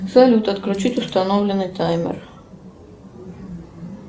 салют отключить установленный таймер